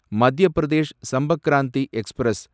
Madhya Pradesh Sampark Kranti express